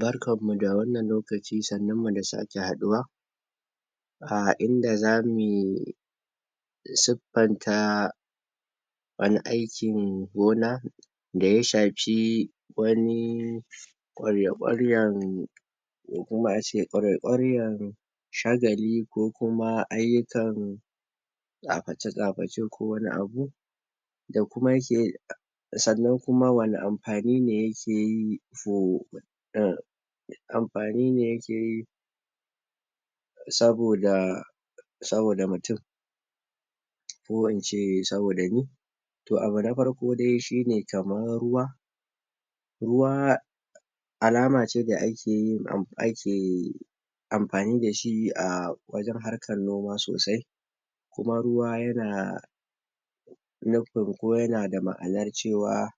Barkanmu da wannan lokaci. Sannunmu da sake haɗuwa. um inda zamu suffanta wani aikin gona da ya shafi wani kwarya-kwaryan ko kuma ace kwarya-kwaryan shagali ko kuma ayyukan tsaface-tsaface ko wani abu da kuma yake sannan kuma wani amfani ne yake yi ma amfani ne yake yi saboda saboda mutum. ko ince saboda ni To abu dai na farko shine kaman ruwa ruwa alama ce da akeyin ake amfani dashi wajen harkan noma sosai kuma ruwa yana nufin ko yanada ma'anar cewa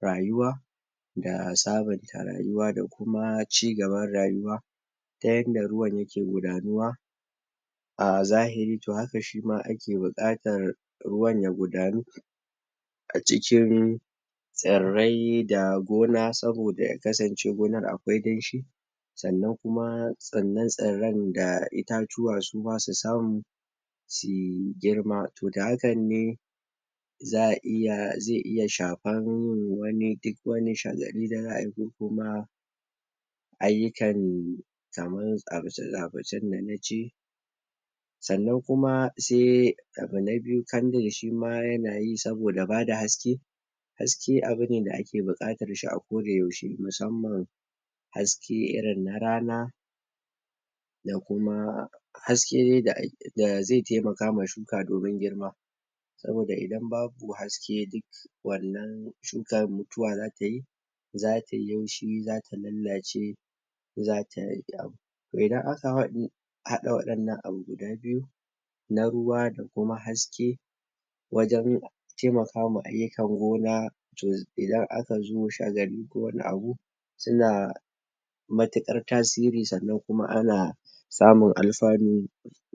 rayuwa da sabonta rayuwa da kuma cigaban rayuwa ta yanda ruwan yake gudanuwa, a zahiri to haka shima ake bukatan ruwan ya gudanu a cikin tsarrai da gona saboda ya kasance gonar akwai danshi sannan kuma tsarran da itatuwa suma su samu suyi girma, To da hakan ne za a iya zai iya shafan duk wani shagali da za'a yi ko kuma ayyukan kaman tsaface-tsafacen da na ce Sannan kuma sai abu na biyu candle shima yanayi saboda bada haske Haske abu ne da ake buƙatar shi a ko da yaushe musamman haske irin na rana, da kuma haske da ake da zai taimaka ma shuka domin girma. saboda idan babu haske duk wannan shukan mutuwa za tayi za tayi laushi, zata lallace, za ta Toh idan aka haɗa waɗannan abu guda biyu na ruwa da kuma haske wajen taimaka ma ayyukan gona to idan aka zo shagali ko wani abu su na matuƙar tasiri sannan kuma ana samun alfanu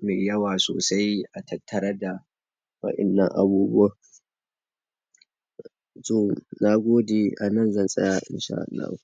mai yawa sosai a tattare da waɗannan abubuwan. To na gode a nan zan tsaya in sha Allah.